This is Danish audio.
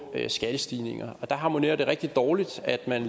skattestigninger og det harmonerer rigtig dårligt at man